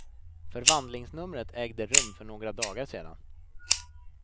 Förvandlingsnumret ägde rum för några dagar sedan.